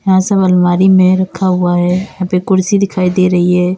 यहां सब अलमारी में रखा हुआ है यहां पे कुर्सी दिखाई दे रही है।